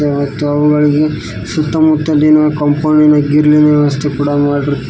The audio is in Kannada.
ಗಳಿಗೆ ಸುತ್ತಮುತ್ತಲಿನ ಕಾಂಪೌಂಡ್ ಇನ ಗ್ರಿಲ್ ಇನ ವ್ಯವಸ್ಥೆ ಕೂಡ ಮಾಡಿರು--